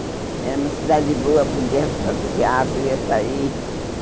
Era uma cidade boa, podia passear, podia sair.